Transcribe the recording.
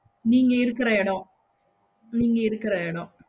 நீங்க இருக்குற எடம் நீங்க இருக்குற எடம்